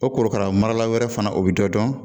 O korokara marala wɛrɛ fana o bɛ dɔ dɔn